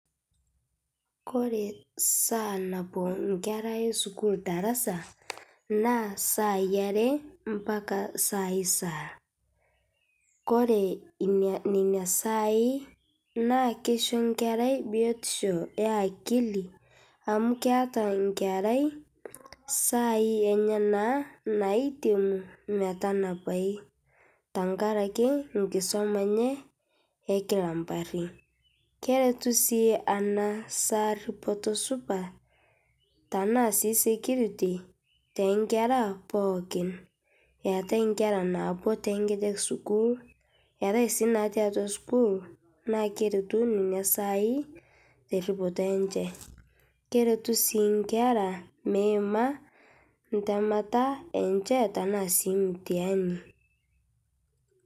Kore saa nabol nkera esukuul darasa naa saai aree mpaka saai saal, kore nenia saai naa keisho nkerai biotisho ee akili amu keataa nkerai saai enyanaa naitemuu metanapai, tankarakee nkisoma enyee ekila mparii keretuu sii ana saa ripotoo supat tanaa sii security te nkera pookin eatai nkera naapuo tenkejek sukuul eatai sii natii atua sukuul naa keretuu nenia saai te ripotoo enche, keretu sii nkera meimaa ntemataa enshee tanaa sii mtihanii.